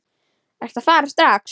Ertu að fara strax?